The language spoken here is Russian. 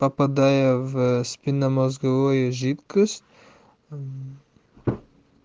попадая в спинномозговой жидкость